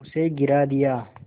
उसे गिरा दिया